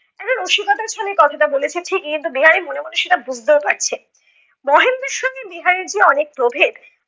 একটা রসিকতার ছলে কথাটা বলেছে ঠিকই কিন্তু বিহারী মনে মনে সেটা বুজতেও পারছে। মহেন্দ্রের সঙ্গে বিহারীর যে অনেক প্রভেদ